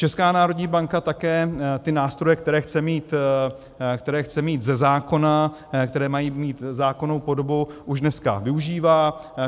Česká národní banka také ty nástroje, které chce mít ze zákona, které mají mít zákonnou podobu, už dneska využívá.